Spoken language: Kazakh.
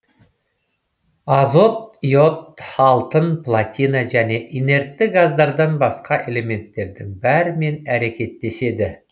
азот йод алтын платина және инертті газдардан басқа элементтердің бәрімен әрекеттеседі